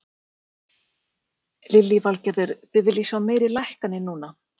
Lillý Valgerður: Þið viljið sjá meiri lækkanir núna?